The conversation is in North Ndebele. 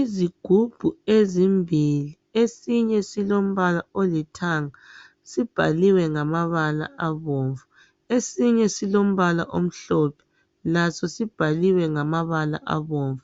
Izigubhu ezimbili. Esinye silombala olithanga sibhaliwe ngamabala abomvu. Esinye silombala omhlophe laso sibhaliwe ngamabala abomvu.